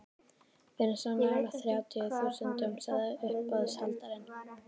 Við erum svo nálægt þrjátíu þúsundunum, sagði uppboðshaldarinn.